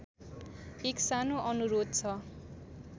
एक सानो अनुरोध छ